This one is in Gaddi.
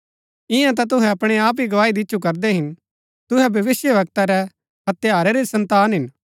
ईयां ता तुहै अपणै आप ही गवाही दिच्छु करदै हिन तुहै भविष्‍यवक्ता रै हत्यारै री सन्तान हिन